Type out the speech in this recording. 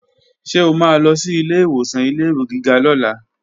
Ṣé o máa lọ sí ilé ìwòsàn ilé-ìwé gíga lọ́la?